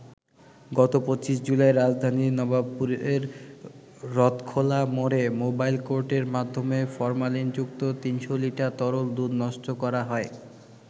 গত ২৫ জুলাই রাজধানীর নবাবপুরের রথখোলা মোড়ে মোবাইল কোর্টের মাধ্যমে ফরমালিনযুক্ত ৩০০ লিটার তরল দুধ নষ্ট করা হয়।